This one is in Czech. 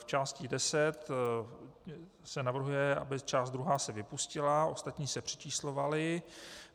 V části deset se navrhuje, aby část druhá se vypustila, ostatní se přečíslovaly.